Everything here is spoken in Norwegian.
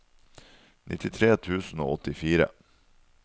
nittitre tusen og åttifire